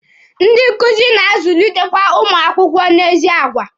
Ndị nkuzi na-azulitekwe ụmụ akwụkwọ n'ezi agwa.